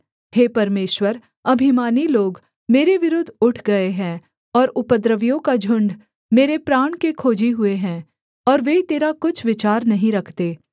हे परमेश्वर अभिमानी लोग मेरे विरुद्ध उठ गए हैं और उपद्रवियों का झुण्ड मेरे प्राण के खोजी हुए हैं और वे तेरा कुछ विचार नहीं रखते